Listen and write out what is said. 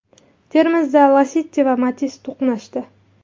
Termizda Lacetti va Matiz to‘qnashdi.